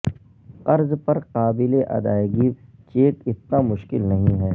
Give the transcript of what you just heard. قرض پر قابل ادائیگی چیک اتنا مشکل نہیں ہے